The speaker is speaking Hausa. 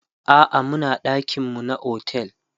a'a Muna ɗakin mu na otel